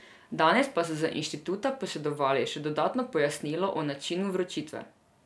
Danes pa so z inštituta posredovali še dodatno pojasnilo o načinu vročitve.